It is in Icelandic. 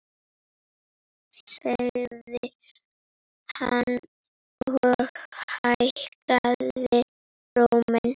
sagði hann og hækkaði róminn.